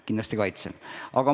Kindlasti kaitsen seda.